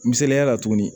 Misaliya la tuguni